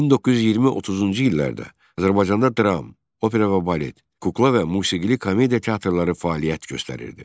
1920-30-cu illərdə Azərbaycanda dram, opera və balet, kukla və musiqili komediya teatrları fəaliyyət göstərirdi.